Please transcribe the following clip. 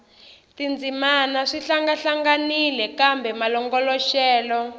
tindzimana swi hlangahlanganile kambe malongoloxelo